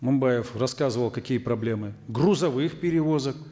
мынбаев рассказывал какие проблемы грузовых перевозок